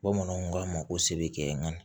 Bamananw k'a ma ko se bɛ kɛ nga